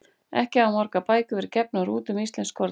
Ekki hafa margar bækur verið gefnar út um íslensk skordýr.